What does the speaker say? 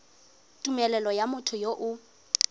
tumelelo ya motho yo o